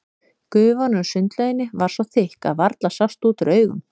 Gufan úr sundlauginni var svo þykk að varla sást út úr augum.